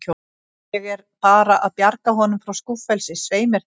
Ég er bara að bjarga honum frá skúffelsi, svei mér þá.